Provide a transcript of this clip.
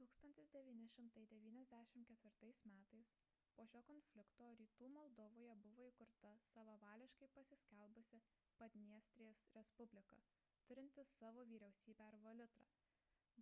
1994 m po šio konflikto rytų moldovoje buvo įkurta savavališkai pasiskelbusi padniestrės respublika turinti savo vyriausybę ir valiutą